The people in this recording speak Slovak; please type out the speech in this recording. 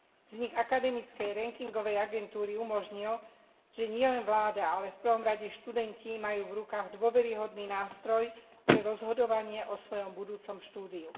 Vznik akademickej rankingovej agentúry umožnil, že nielen vláda, ale v prvom rade študenti majú v rukách dôveryhodný nástroj pri rozhodovaní o svojom budúcom štúdiu.